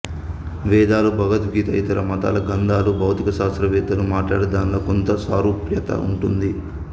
వేదాలూ భగవద్గీతా ఇతర మతాల గ్రంథాలూ భౌతిక శాస్త్ర వేత్తలూ మాట్లాడే దానిలో కొంత సారూప్యత ఉంటుంది